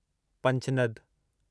Panjnad